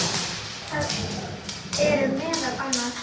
Það eru meðal annars